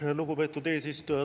Aitäh, lugupeetud eesistuja!